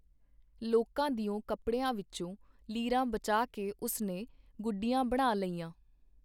ਲੋਕਾਂ ਦਿਓ ਕੱਪੜਿਆਂ ਵਿੱਚੋਂ ਲੀਰਾਂ ਬਚਾ ਕੇ ਉਸਨੇ ਗੁੱਡੀਆਂ ਬਣਾ ਲਈਆਂ.